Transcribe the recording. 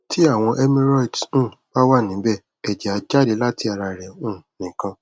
ti awọn hemorrhoids um ba wa nibe ẹjẹ a jade lati ara re um nikan